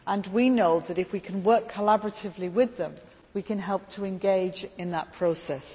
We know that, if we can work collaboratively with them, we can help to engage in that process.